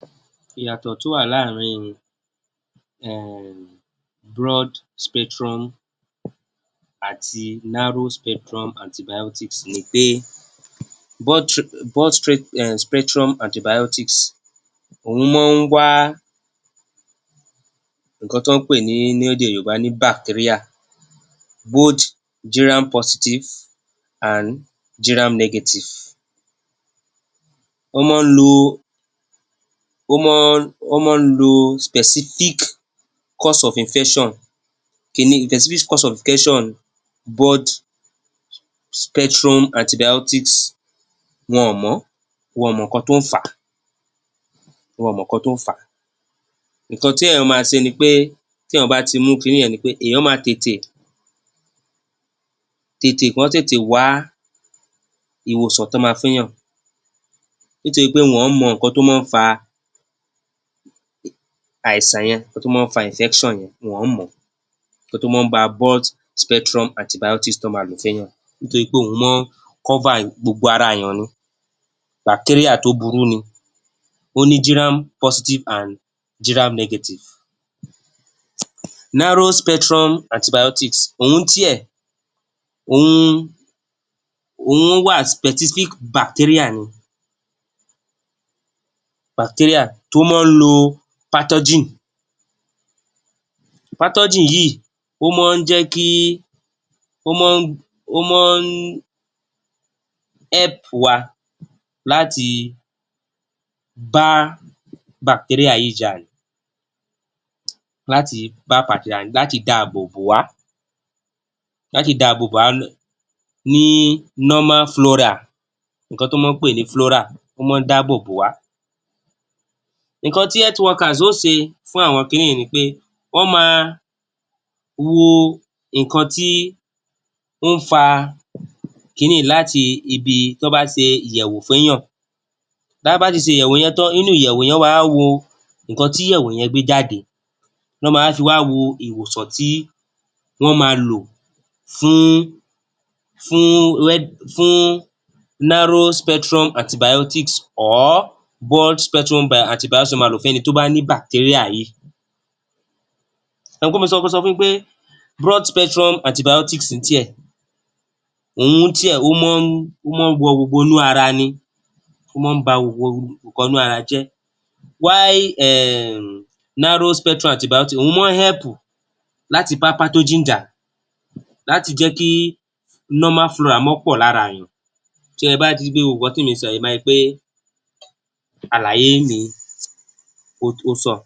Ìyàtọ̀ tó wà láàrín in um broad-spectrum àti narrow-spectrum antibiotics ni pé um spectrum antibiotics òún máa ń wá ǹǹkan tán ń pè ní, ní édè Yorùbá ní bacteria, both gram-positive and gram-negative wọ́n máa ń lo, wọ́n máa, wọ́n máa lo specific cause of infection specific cause of broad-spectrum antibiotics, wọn àn mọ̀ ọ́n. Wọn àn mọ̀ ǹǹkan tó ń fà á. Wọn àn mọ̀ ǹǹkan tó ń fà á. Ǹǹkan téèyàn máa se ni pé, téèyàn bá ti mú kinní yẹn ni pé èèyàn máa tètè, tètè, kán tètè wá ìwòsàn tán ma fééyàn nítorí pé wọn ọ̀n ń mọ ǹǹkan tó máa ń fà àìsàn yẹn, ǹǹkan tó máa ń fa infection yẹn, wọn ọ̀n ń mọ̀ ọ́n, ǹǹkan tó máa ń fa broad-spectrum antibiotics tán ma ló fééyàn nítorí pé òún máa cover gbogbo ara èèyàn ni. Bacteria tó burú ni. Ó ní giram-positive and giram-negative. Narrow-spectrum antibiotics òún tíẹ̀, òun wà specific bacteria ni. Bacteria tó máa ń lo pathogen, pathogen yìí, ó máa ń jẹ́ kí, ó máa, ó máa ń help wa láti bá bacteria yìí jà ni. Láti bá jà ni, láti dààbò bò wá, láti dààbò bò wá ní normal flora. Ǹǹkan tán máa ń pè ní flora, ó máa ń dáábò bò wá. Ǹǹkan tí health workers ó se fún àwọn kinní yìí ni pé wọ́n máa wo ǹǹkan tí ó ń fa kinní yìí láti ibi tán bá se ìyẹ̀wò fééyàn. Tá a bá ti se ìyẹ̀wò yẹn tán, nínú ìyẹ̀wò yẹn, wọ́n wá á wo ǹǹkan tí ìyẹ̀wò yẹn gbé jáde. Ná máa wá fi wá wo ìwòsàn tí wọ́n máa lò, fún, fún fún narrow-spectrum antibiotics or broad spectrum antibiotics tán máa lò fẹ́ni tó bá ní bacteria yìí. Ẹ mọ̀ pé mo ti sọ, mo sọ fún yín pé broad-spectrum antibiotics tíẹ̀, òún tíẹ̀, ó máa ń, ó máa ń wọ gbogbonú ara ni. Ó máa ń ba gbogbo ǹǹkan inú ara jẹ́. While um narrow-spectrum antibiotics òún máa help láti bá pathogen jà, láti jẹ́ kí normal flora pọ̀ láraàyàn. Tẹ́ ẹ bá ti hí i pé gbogbo ǹǹkan tí mì ń sọ yìí, ẹ ma hi pé àlàyé mi, ó, ó sàn.